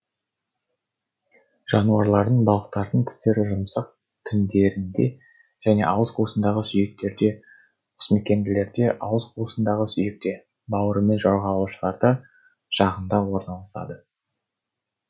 жануарлардың балықтардың тістері жұмсақ тіндерінде және ауыз қуысындағы сүйектерде қосмекенділерде ауыз қуысындағы сүйекте бауырымен жорғалаушыларда жағында орналасады